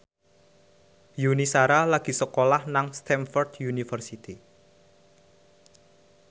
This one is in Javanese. Yuni Shara lagi sekolah nang Stamford University